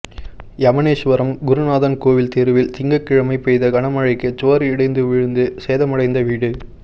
எமனேசுவரம் குருநாதன் கோவில் தெருவில் திங்கள்கிழமை பெய்த கனமழைக்கு சுவா் இடிந்து விழுந்து சேதமடைந்த வீடு